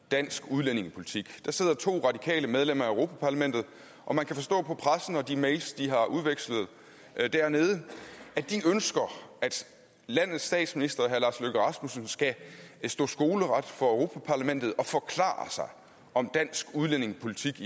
dansk udlændingepolitik der sidder to radikale medlemmer af europa parlamentet og man kan forstå på pressen og de mails de har udvekslet dernede at de ønsker at landets statsminister herre lars løkke rasmussen skal stå skoleret for europa parlamentet og forklare sig om dansk udlændingepolitik